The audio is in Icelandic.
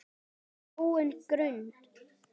gróin grund!